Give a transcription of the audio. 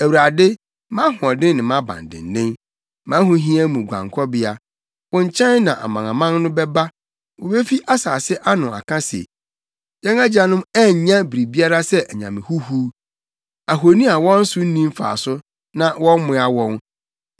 Awurade, mʼahoɔden ne mʼabandennen, mʼahohia mu guankɔbea, wo nkyɛn na amanaman no bɛba; wobefi nsase ano aka se, “Yɛn agyanom annya biribiara sɛ anyame huhuw, ahoni a wɔn so nni mfaso na wɔammoa wɔn.